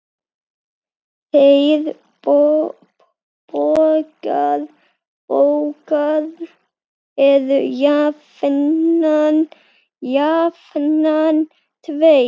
Þeir bógar eru jafnan tveir.